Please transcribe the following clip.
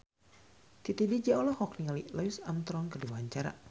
Titi DJ olohok ningali Louis Armstrong keur diwawancara